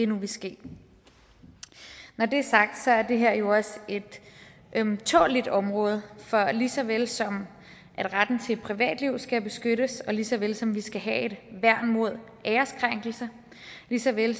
vil ske når det er sagt er det her jo også et ømtåleligt område for lige så vel som at retten til et privatliv skal beskyttes og lige så vel som at vi skal have et værn mod æreskrænkelse lige så vel